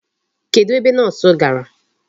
Kedụ ebe Nọọsụ gara?